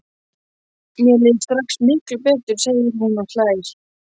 Mér líður strax miklu betur, segir hún og hlær.